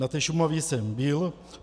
Na té Šumavě jsem byl.